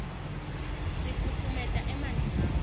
sifutfumeta emanti ngawo